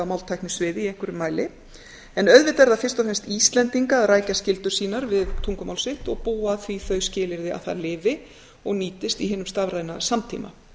í einhverjum mæli en auðvitað er það fyrst og fremst íslendinga að rækja skyldur sínar við tungumál sitt og búa því þau skilyrði að það lifi og nýtist í hinum stafræna samtíma